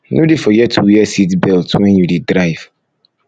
no dey forget to wear seat belt wen you dey drive